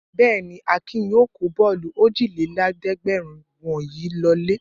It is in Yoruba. Bẹ́ẹ̀ ni, Akin yóò kó bọ́ọ́lù ójìlélẹ́ẹ̀dẹ́gbẹ̀rún wọ̀nyí lọlé.